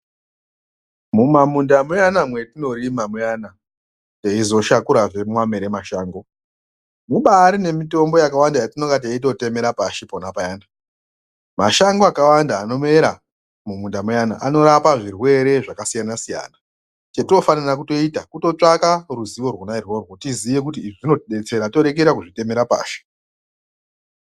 Mumamunda muyana mwetinorima muyana teizoshakurazve mamwere mashango, mubari nemitombo yakawanda yatinenge teitotemere pashi pona payani, mashango akawanda anomera muminda muyana anorapwa zvirwere zvakasiyana siyana chatinofanira kutoita kutsvaka ruzivo rwona irworwo tiziye kuti zvinotidetsera torekera kuzvitemera pashi.